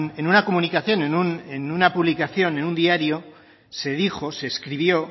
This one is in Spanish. en una comunicación en una publicación en un diario se dijo se escribió